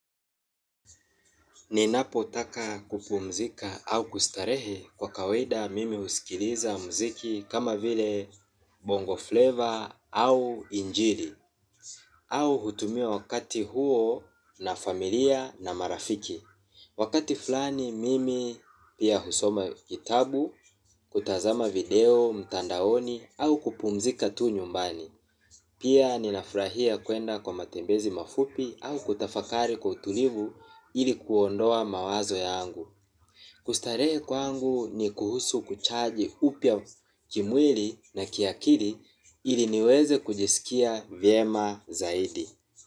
Ninapo taka kupumzika au kustarehe kwa kawaida mimi usikiliza mziki kama vile bongo flavor au injili. Au hutumia wakati huo na familia na marafiki. Wakati fulani mimi pia husoma kitabu, kutazama video, mtandaoni au kupumzika tu nyumbani. Pia ninaufrahia kuenda kwa matembezi mafupi au kutafakari kwa utulivu ili kuondoa mawazo yangu. Kustarehe kwangu ni kuhusu kuchaji upya kimweli na kiakili ili niweze kujisikia vyema zaidi.